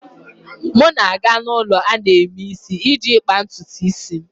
M na-aga ulo ana-eme isi iji kpaa ntutu isi m.